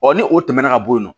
Ɔ ni o tɛmɛna ka bɔ yen nɔ